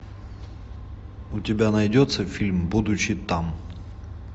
у тебя найдется фильм будучи там